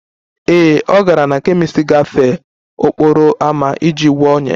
Ee, ọ gara na kemist gafee n'okporo ámá iji gwọọ ọnyá ya